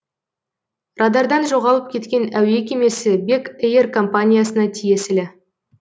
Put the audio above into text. радардан жоғалып кеткен әуе кемесі бек эйр компаниясына тиесілі